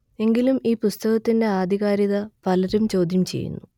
എങ്കിലും ഈ പുസ്തകത്തിന്റെ ആധികാരികത പലരും ചോദ്യം ചെയ്യുന്നു